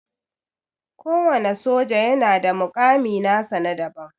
Kowana soja yana da mukami nasa na daban.